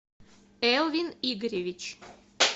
элвин игоревич